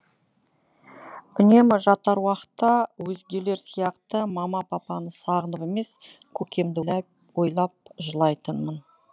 үнемі жатар уақытта өзгелер сияқты мама папаны сағынып емес көкемді ойлап жылайтынмын